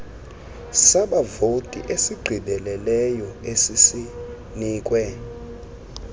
sabavoti esigqibeleleyo esisinikwe